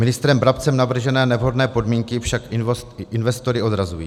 Ministrem Brabcem navržené nevhodné podmínky však investory odrazují.